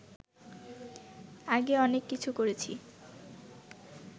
আগে অনেক কিছু করেছি